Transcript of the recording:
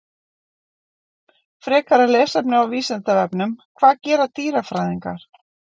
Frekara lesefni á Vísindavefnum: Hvað gera dýrafræðingar?